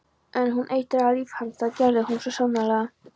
En hún eitraði líf hans, það gerði hún svo sannarlega.